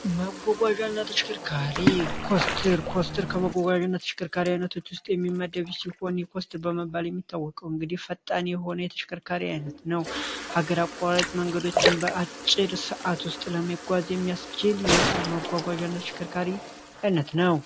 መጓጓዣ አይነት ተሽከርካሪ ስትር ኮስትር ከመጓጓዥነት ሽክርካሪ አይነቶች ውስጥ የሚመደቢ ሲሆን ኮስትር በመባል የሚታወቀው እንግዲህ ፈጣኒ የሆነ የተሽክርካሪ ዓይነት ነው ሀገር አቋራላጭ መንገዶችን በአጭድ ሰዓት ውስጥ ለመጓዝ የሚያስችል የመጓጓዣነት ሽክርካሪ አይነት ነው፡፡